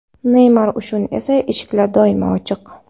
Neymar uchun esa eshiklar doimo ochiq.